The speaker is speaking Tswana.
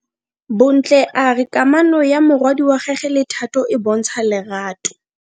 Bontle a re kamano ya morwadi wa gagwe le Thato e bontsha lerato.